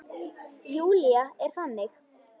Júlía er þannig.